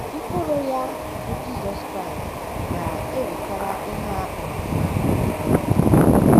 Mkpụrụ ya, bụ́ Jizọs Kraịst, ga - ewetara ihe a kpọrọ mmadụ ngọzi